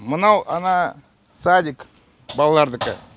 мынау ана садик балалардікі